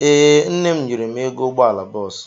Ee, nne m nyere m ego ụgbọala bọọsụ.